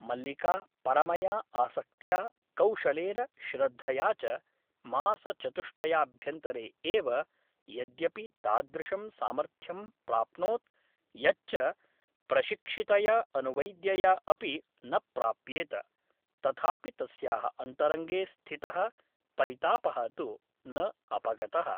मल्लिका परमया आसक्त्या कौशलेन श्रद्धया च मासचतुष्टयाभ्यन्तरे एव यद्यपि तादृशं सामर्थ्यं प्राप्नोत् यच्च प्रशिक्षितया अनुवैद्यया अपि न प्राप्येत , तथापि तस्याः अन्तरङ्गे स्थितः परितापः तु न अपगतः ।